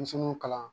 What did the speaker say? Denmisɛnninw kalan